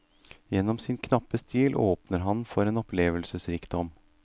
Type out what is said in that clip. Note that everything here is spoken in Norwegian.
Gjennom sin knappe stil åpner han for en opplevelsesrikdom.